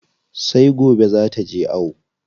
Sai gobe zaa taje ayo.